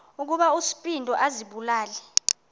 ukuba uspido azibulale